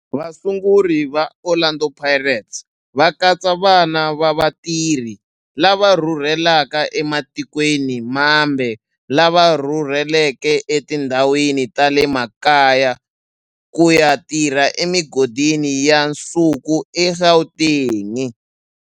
Vasunguri va Orlando Pirates va katsa vana va vatirhi lava rhurhelaka ematikweni mambe lava rhurheleke etindhawini ta le makaya ku ya tirha emigodini ya nsuku eGauteng.